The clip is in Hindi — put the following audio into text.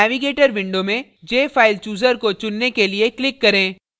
navigator window में jfilechooser को चुनने के लिए click करें